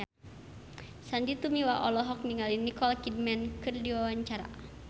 Sandy Tumiwa olohok ningali Nicole Kidman keur diwawancara